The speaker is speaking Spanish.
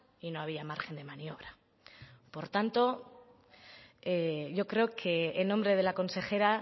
y no había margen de maniobra por tanto yo creo que en nombre de la consejera